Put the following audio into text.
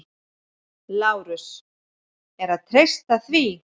LÁRUS: Er að treysta því?